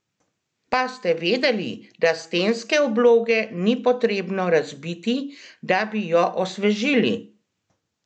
Pa ste vedeli, da stenske obloge ni potrebno razbiti, da bi jo osvežili?